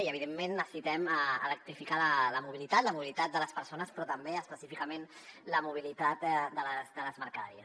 i evidentment necessitem electrificar la mobilitat la mobilitat de les persones però també específicament la mobilitat de les mercaderies